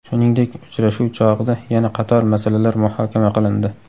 Shuningdek, uchrashuv chog‘ida yana qator masalalar muhokama qilindi.